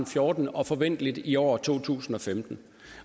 fjorten og forventeligt i år to tusind og femten